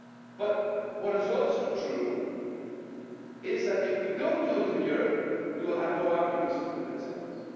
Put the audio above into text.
But what is also true is that if we don't do it in Europe, we will have no arguments to convince others.